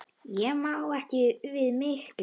Ég má ekki við miklu.